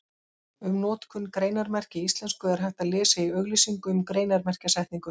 Um notkun greinarmerkja í íslensku er hægt að lesa í auglýsingu um greinarmerkjasetningu.